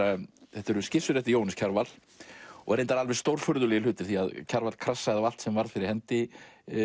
þetta eru skissur eftir Jóhannes Kjarval reyndar alveg stórfurðulegir hlutir því Kjarval krassaði á allt sem varð fyrir hendi